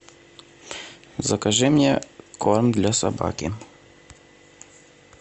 закажи мне корм для собаки